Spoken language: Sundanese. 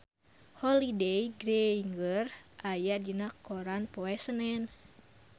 Holliday Grainger aya dina koran poe Senen